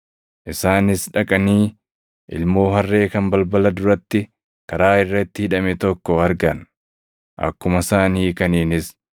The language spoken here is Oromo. Isaanis dhaqanii ilmoo harree kan balbala duratti, karaa irratti hidhame tokko argan. Akkuma isaan hiikaniinis,